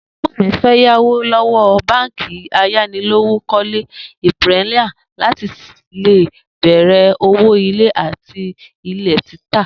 Ègbó̩n mi fé̩ yáwó ló̩wó̩ báǹkì ayánilówókó̩lé Imperial láti lè bè̩rè̩ òwò ilé àti ilè̩ títà